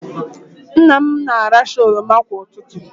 Nna m na-aracha oroma kwa ụtụtụ.